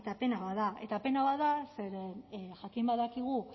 pena bat da eta pena bat da zeren jakin badakigu